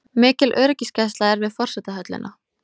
Mikil öryggisgæsla er við forsetahöllina